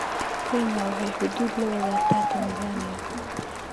Kenya waxay xuduud la wadaagtaa Tanzania